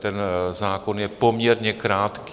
Ten zákon je poměrně krátký.